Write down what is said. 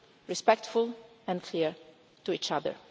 respectful and clear to each other.